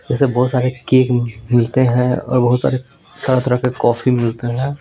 जैसे बहुत सारे केक मिलते हैं और बहुत सारे तरह तरह के कॉफी मिलते हैं।